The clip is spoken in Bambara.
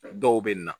Dɔw bɛ na